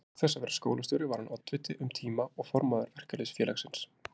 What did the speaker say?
Auk þess að vera skólastjóri var hann oddviti um tíma og formaður Verkalýðsfélagsins.